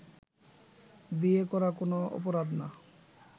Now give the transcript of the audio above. বিয়ে করা কোনো অপরাধ না